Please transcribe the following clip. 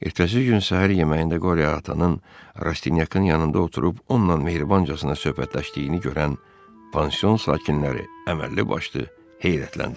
Ertəsi gün səhər yeməyində Qori atanın Rastinyakın yanında oturub onunla mehribancasına söhbətləşdiyini görən pansion sakinləri əməlli başlı heyrətləndilər.